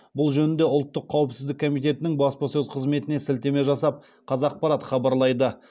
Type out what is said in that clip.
бұл жөнінде ұлттық қауіпсіздік комитетінің баспасөз қызметіне сілтеме жасап қазақпарат хабарлайды